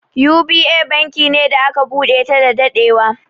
U.B.A banki ne da aka buɗe ta da daɗewa.